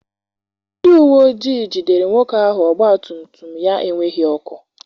Ndị uwe ojii jidere nwoke ahụ ọgbatumtum ya enweghị ọkụ.